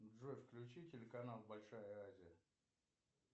джой включи телеканал большая азия